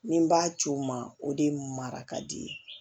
Ni n b'a ci o ma o de ye marakadi ye